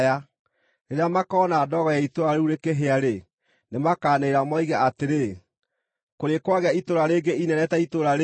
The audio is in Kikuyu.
Rĩrĩa makoona ndogo ya itũũra rĩu rĩkĩhĩa-rĩ, nĩmakanĩrĩra moige atĩrĩ, ‘Kũrĩ kwagĩa itũũra rĩngĩ inene ta itũũra rĩĩrĩ?’